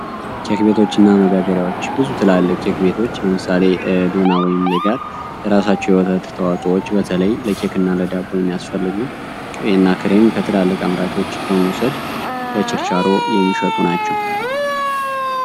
ኬክ ቤቶች እና መጋገሪያወች ብዙ ትላልቅ ኬክ ቤቶች ለምሳሌ ዶና ወይም ሌጋር የራሳቸዉ የወተት ቤት ተዋጾች በተለይ ለኬክ እና ለዳቦ የሚያስፈልጉ ቅቤ እና ክሬም ከትላልቅ አምራቾች በመዉሰድ ለችርቻሮ የሚሸጡ ናቸዉ።